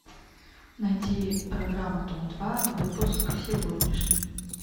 найти программу дом два выпуск сегодняшний